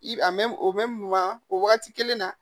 I a mɛn o bɛ mun na o wagati kelen na